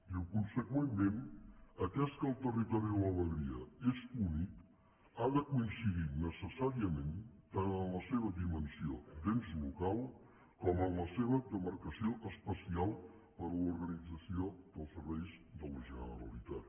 diu conseqüentment atès que el territori de la vegueria és únic ha de coincidir necessàriament tant en la seva dimensió d’ens local com en la seva demarcació espacial per a l’organització dels serveis de la generalitat